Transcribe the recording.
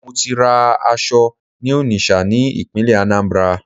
Mo ti ra aṣọ ní Onitsha ní ìpínlẹ̀ Anambra